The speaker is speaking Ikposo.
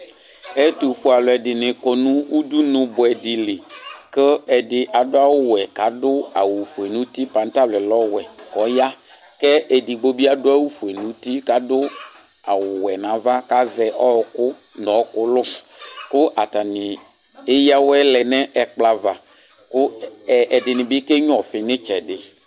Ɛtufue aluɛdini kɔ nu udunu buɛdi li ku ɛdi adu awu wɛ ku adu awu ofue nu uti patalɔ yɛ lɛ ɔwɛ ku ɔya ku edigbo adu awu ofue nu uti ku adu awu ofue nava ku azɛ ɔɔku nu ɔɔku lu atani Eya awɛ lɛ nu ɛkplɔ ava ku ɛdini bi kenya ɔfi nu itsɛdi